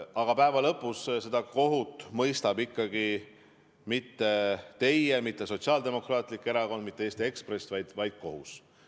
Aga lõpus ei mõista kohut ikkagi mitte teie, mitte Sotsiaaldemokraatlik Erakond, mitte Eesti Ekspress, vaid kohus.